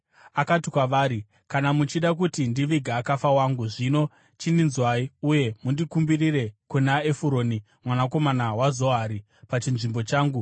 Akati kwavari, “Kana muchida kuti ndivige akafa wangu, zvino chindinzwai uye mundikumbirire kuna Efuroni mwanakomana waZohari pachinzvimbo changu,